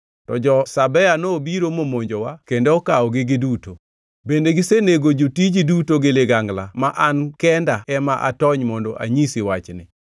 to jo-Sabea nobiro momonjowa kendo okawogi duto. Bende gisenego jotiji duto gi ligangla ma an kendo ema atony mondo anyisi wachni!”